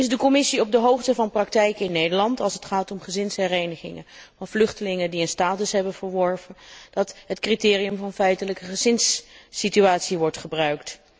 Is de Commissie op de hoogte van praktijken in Nederland als het gaat om gezinsherenigingen van vluchtelingen die een status hebben verworven, dat het criterium van feitelijke gezinssituatie wordt gebruikt.